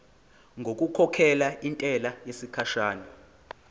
ngokukhokhela intela yesikhashana